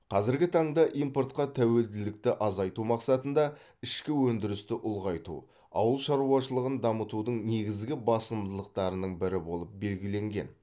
қазіргі таңда импортқа тәуелділікті азайту мақсатында ішкі өндірісті ұлғайту ауыл шаруашылығын дамытудың негізгі басымдықтарының бірі болып белгіленген